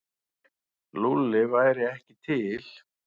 Lúlli væri ekki til.